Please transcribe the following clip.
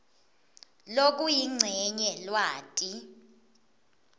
lokuyincenye lwati